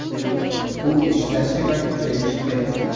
U ishlashi va kuchayishi kerak.